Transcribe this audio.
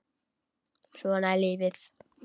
Svona er lífið.